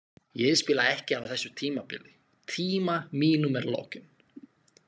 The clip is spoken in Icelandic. Ég spila ekki á þessu tímabili, tíma mínum er lokin.